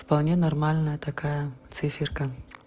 вполне нормальная такая циферка